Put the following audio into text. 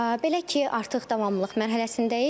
Belə ki, artıq davamlılıq mərhələsindəyik.